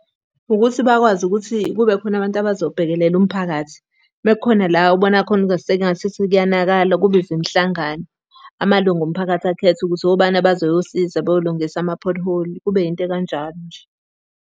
Ukuthi bakwazi ukuthi kube khona abantu abazo bhekelela umphakathi. Uma kukhona la obona khona ingasithi kuyonakala, kubizwe imihlangano. Amalungu omphakathi akhethe ukuthi obani abazoyosiza beyolungisa ama-pothole, kube yinto ekanjalo nje. lo.